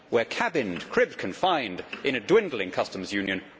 We are cabined, cribbed, confined in a dwindling customs union.